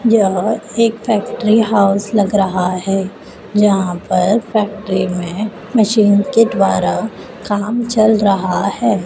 यहां एक factory house लग रहा है। यहां पर फैक्ट्री में मशीन के द्वारा काम चल रहा है।